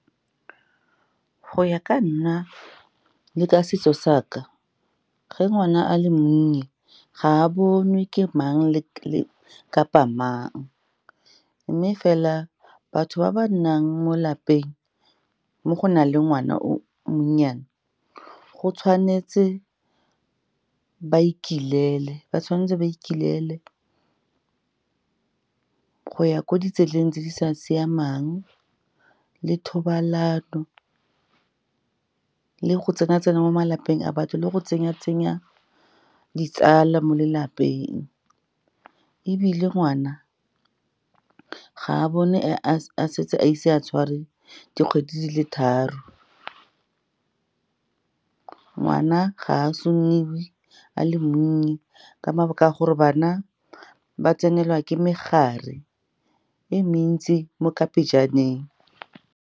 Go ya ka nna le ka setso sa ka, ge ngwana a le monnye, ga a bonwe ke mang kapa mang. Mme fela batho ba ba nnang mo lapeng mo go na le ngwana o o monnyane, ba tshwanetse ba ikelele go ya ko ditseleng tse di sa siamang, le thobalano, le go tsena-tsena mo malapeng a batho, le go tsenya-tsenya ditsala mo lelapeng. Ebile ngwana ga a bonwe a ise a tshware dikgwedi di le tharo. Ngwana ga a sunewe a le monnye ka mabaka a gore bana ba tsenela ke megare e mentsi mo ka pejaneng.